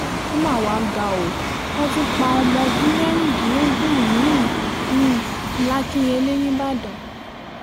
ó mà wá ga o wọ́n tún pa ọmọ ọdún mẹ́rìndínlógún mi-ín làkìnyẹlé nìbàdàn